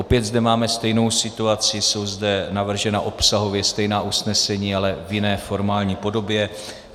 Opět zde máme stejnou situaci, jsou zde navržena obsahově stejná usnesení, ale v jiné formální podobě.